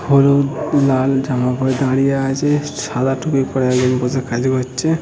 হলুদ লাল জামা পড়ে দাঁড়িয়ে আছে সাদা টুপি পরে একজন বসে কাজ করছে--